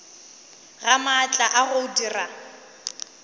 ga maatla a go dira